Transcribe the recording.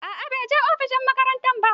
A'a banje ofishin shugaban makaranta ba.